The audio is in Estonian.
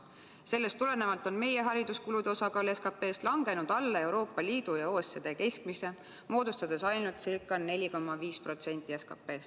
Sellest tulenevalt on meie hariduskulude osakaal SKP-s langenud alla Euroopa Liidu ja OECD keskmise, moodustades ainult ca 4,5% SKP-st.